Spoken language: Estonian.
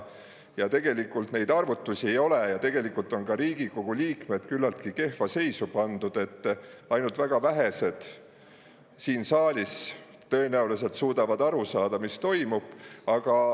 Ja tegelikult neid arvutusi ei ole ja tegelikult on ka Riigikogu liikmed küllaltki kehva seisu pandud, et ainult väga vähesed siin saalis tõenäoliselt suudavad aru saada, mis toimub.